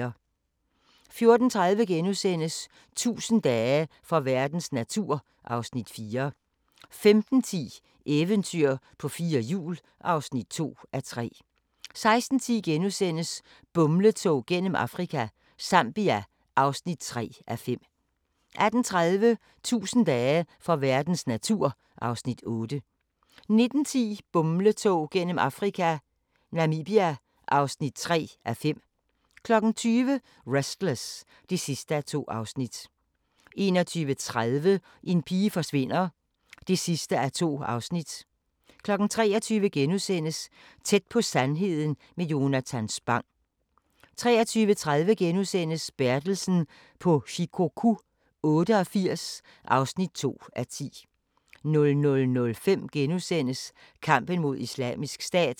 14:30: 1000 dage for verdens natur (Afs. 4)* 15:10: Eventyr på fire hjul (2:3) 16:10: Bumletog gennem Afrika – Zambia (3:5)* 18:30: 1000 dage for verdens natur (Afs. 8) 19:10: Bumletog gennem Afrika - Namibia (4:5) 20:00: Restless (2:2) 21:30: En pige forsvinder (2:2) 23:00: Tæt på sandheden med Jonatan Spang * 23:30: Bertelsen på Shikoku 88 (2:10)* 00:05: Kampen mod Islamisk Stat *